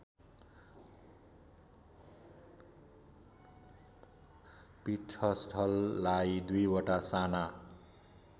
पीठस्थललाई दुईवटा साना